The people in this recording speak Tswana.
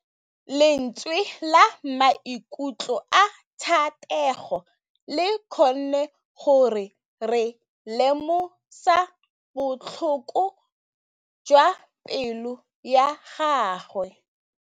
Lentswe la maikutlo a Thategô le kgonne gore re lemosa botlhoko jwa pelô ya gagwe.